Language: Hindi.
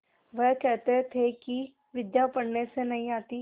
वह कहते थे कि विद्या पढ़ने से नहीं आती